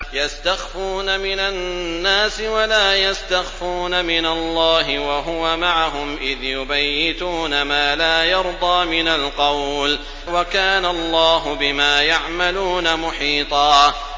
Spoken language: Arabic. يَسْتَخْفُونَ مِنَ النَّاسِ وَلَا يَسْتَخْفُونَ مِنَ اللَّهِ وَهُوَ مَعَهُمْ إِذْ يُبَيِّتُونَ مَا لَا يَرْضَىٰ مِنَ الْقَوْلِ ۚ وَكَانَ اللَّهُ بِمَا يَعْمَلُونَ مُحِيطًا